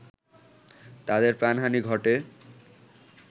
তাদের প্রাণহানি ঘটে